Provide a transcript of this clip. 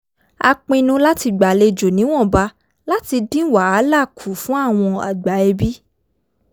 a pinnu láti gbàlejò níwọ̀nba láti dín wàhálà kù fun àwọn àgbà ẹbí